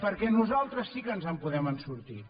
perquè nosaltres sí que ens en podem sortir